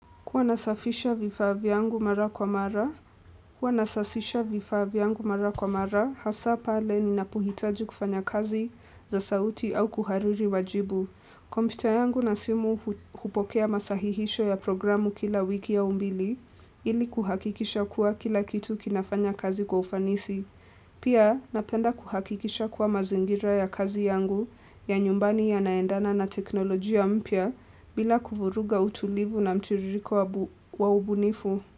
Huwa nasafisha vifaa vyangu mara kwa mara, kwa nasasisha vifaa yangu mara kwa mara, hasa pale ninapohitaji kufanya kazi za sauti au kuhariri wajibu. Kompyuta yangu na simu hupokea masahihisho ya programu kila wiki au mbili ili kuhakikisha kuwa kila kitu kinafanya kazi kwa ufanisi. Pia napenda kuhakikisha kuwa mazingira ya kazi yangu ya nyumbani yanaendana na teknolojia mpya bila kuvuruga utulivu na mtiririko wa ubunifu.